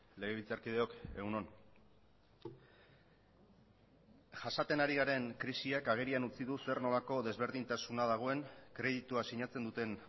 legebiltzarkideok egun on jasaten ari garen krisiak agerian utzi du zer nolako desberdintasuna dagoen kreditua sinatzen duten